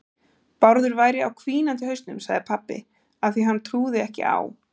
Bárður væri á hvínandi hausnum, sagði pabbi, af því að hann trúði ekki á